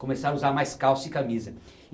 Começaram a usar mais calça e camisa.